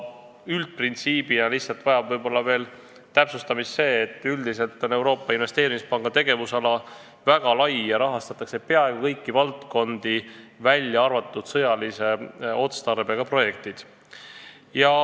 Üldprintsiibina vajab võib-olla täpsustamist veel see, et Euroopa Investeerimispanga tegevusala on väga lai: rahastatakse peaaegu kõiki valdkondi, välja arvatud sõjalise otstarbega projektid.